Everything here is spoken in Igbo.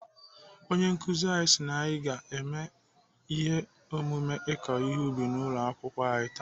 Onye nkụzi anyị si na anyị ga-eme ihe omume ị̀kọ ihe n'ubi ụlọ akwụkwọ anyị taa.